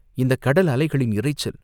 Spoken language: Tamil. இந்தக் கடல் அலைகளின் இரைச்சல்!